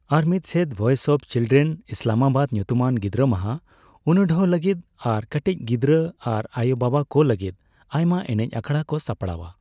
ᱟᱨ ᱢᱤᱫᱥᱮᱫ, voice of children Islamabad ᱧᱩᱛᱩᱢᱟᱱ ᱜᱤᱫᱨᱟᱹᱢᱟᱦᱟ ᱩᱱᱩᱰᱷᱟᱹᱣ ᱞᱟᱹᱜᱤᱫ ᱟᱨ ᱠᱟᱹᱴᱤᱡ ᱜᱤᱫᱽᱨᱟᱹ ᱟᱨ ᱟᱭᱩᱼᱵᱟᱵᱟ ᱠᱚ ᱞᱟᱹᱜᱤᱫ ᱟᱭᱢᱟ ᱮᱱᱮᱡ ᱟᱠᱷᱲᱟ ᱠᱚ ᱥᱟᱯᱲᱟᱣᱼᱟ ᱾